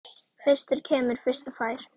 Fyrstur kemur, fyrstur fær!